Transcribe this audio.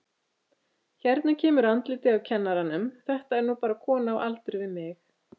Hérna kemur andlitið á kennaranum, þetta er nú bara kona á aldur við mig.